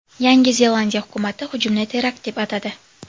Yangi Zelandiya hukumati hujumni terakt deb atadi.